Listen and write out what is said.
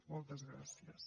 moltes gràcies